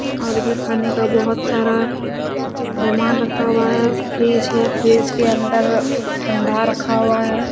और भी खाने का बहोत सारा सामान रखा हुआ है फ्रीज है फ्रीज के अंदर ठंडा रखा हुआ है।